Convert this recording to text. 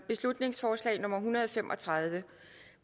beslutningsforslag nummer b en hundrede og fem og tredive